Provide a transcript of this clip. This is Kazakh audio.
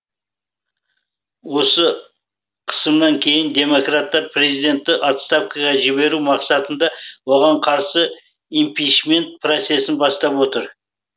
осы қысымнан кейін демократтар президентті отставкаға жіберу мақсатында оған қарсы импичмент процесін бастап отыр